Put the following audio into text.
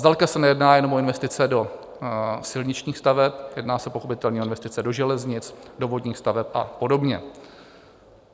Zdaleka se nejedná jen o investice do silničních staveb, jedná se pochopitelně o investice do železnic, do vodních staveb a podobně.